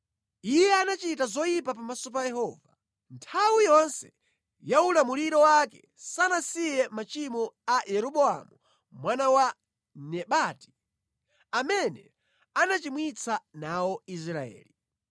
Iye anachita zoyipa pamaso pa Yehova. Nthawi yonse ya ulamuliro wake sanasiye machimo a Yeroboamu mwana wa Nebati, amene anachimwitsa nawo Israeli.